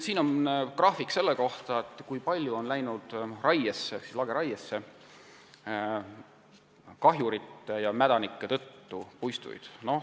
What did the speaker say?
Siin on graafik selle kohta, kui suur osa puistuid on läinud kahjurite ja mädanike tõttu lageraiesse.